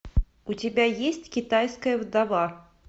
у тебя есть китайская вдова